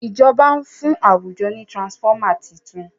ìjọba n fún àwùjọ ní transformer títún.